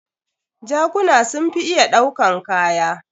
Jakuna sun fi iya ɗaukan kaya.